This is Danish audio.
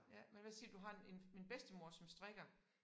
Ja man hvad siger du har en en en bedstemor som strikker